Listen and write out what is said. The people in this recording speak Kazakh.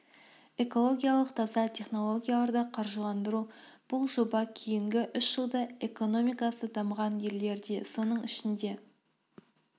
экологиялық таза технологияларды қаржыландыру бұл жоба кейінгі үш жылда экономикасы дамыған елдерде соның ішінде